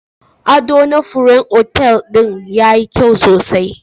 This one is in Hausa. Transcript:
Adona furen otal din yayi kyau sosai